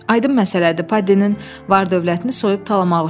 Aydın məsələdir, Paddinin var-dövlətini soyub tamahmaq üçün.